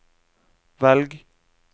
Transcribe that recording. velg